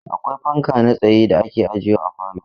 Akwai fanka na tsaye da ake ajewa a falo.